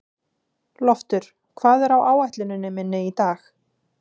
Loftur, hvað er á áætluninni minni í dag?